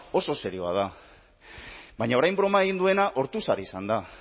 oso serioa da baina orain broma egin duena ortuzar izan da